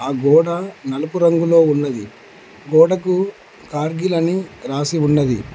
గోడ నలుపు రంగులో ఉన్నది గోడకు కార్గిల్ అని రాసి ఉన్నది.